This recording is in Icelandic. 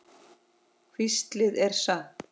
Hvíslið er satt.